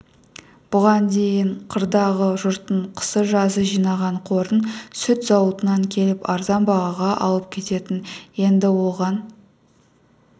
бұған дейін қырдағы жұрттың қысы-жазы жинаған қорын сүт зауытынан келіп арзан бағаға алып кететін енді оған